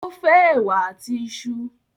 o fe èwà àti iṣu.